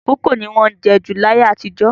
Kókò ni wọ́n jẹ́ jù ní ayé àtijọ́